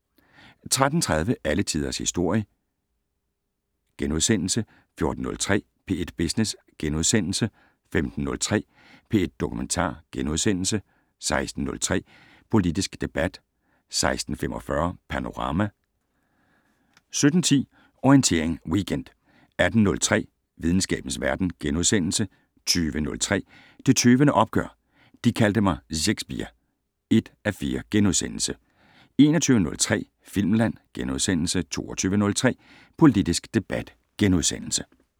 13:30: Alle Tiders Historie * 14:03: P1 Business * 15:03: P1 Dokumentar * 16:03: Politisk debat 16:45: Panorama 17:10: Orientering Weekend 18:03: Videnskabens Verden * 20:03: Det Tøvende Opgør: De kaldte mig Szekspir (1:4)* 21:03: Filmland * 22:03: Politisk debat *